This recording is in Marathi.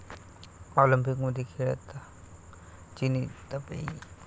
ऑलिम्पिक खेळात चिनी तपेई